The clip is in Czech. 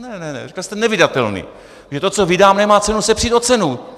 Ne ne ne, říkal jste nevydatelný, protože to, co vydám, nemá cenu se přít o cenu.